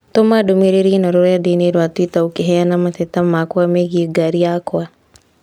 Tũma ndũmīrīri īno rũrenda-inī rũa tũita ũkiheana mateta makwa megiĩ ngari yakwa.